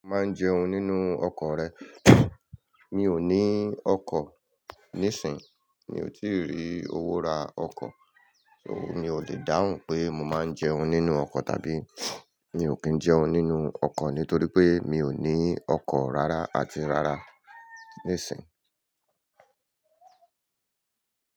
"Maa n jẹun nínú ọkọ rẹ", mi ò ní ọkọ nisinyi, mi ò tí ì rí owó ra ọkọ, òun mi ò lè dáhùn pé mo máa ń jẹun nínú ọkọ tàbí mi ò kín jẹun nínú ọkọ nítorí pé mi ò ní ọkọ rárá àti rárá nisinyi.